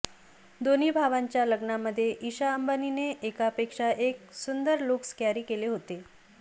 दोन्ही भावांच्या लग्नामध्ये ईशा अंबानीने एकापेक्षा एक सुंदर लुक्स कॅरी केले होते